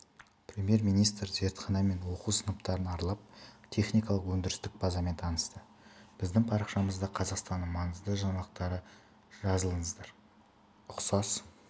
премьер-министр зертхана мен оқу сыныптарын аралап техникалық-өндірістік базамен танысты біздің парақшамызда қазақстанның маңызды жаңалықтары жазылыңыздар ұқсас